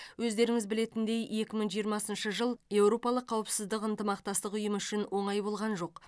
өздеріңіз білетіндей екі мың жиырмасыншы жыл еуропалық қауыпсыздығы ынтымақтық ұйымы үшін оңай болған жоқ